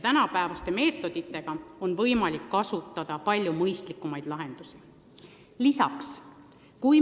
Tänapäevaste meetoditega on võimalik kasutada palju mõistlikumaid lahendusi.